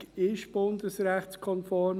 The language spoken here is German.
Die Ergänzung ist bundesrechtskonform.